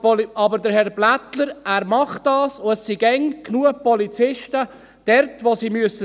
Aber Herr Blättler macht das, und es sind immer genug Polizisten dort, wo sie sein müssen.